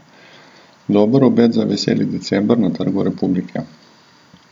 Dober obet za veseli december na Trgu republike.